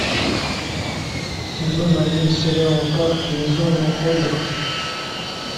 сезон один сериала парки и зоны отдыха